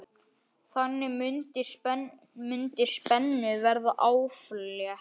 Þannig mundi spennu verða aflétt.